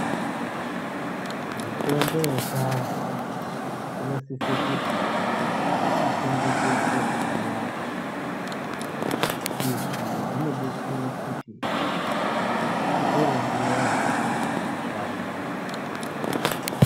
Mitombo yechianhu , inosise kuti ichengetedzwe zvakanaka. Izvi zvinodetsere kuti ,itore nguwa yakareba yeishanda.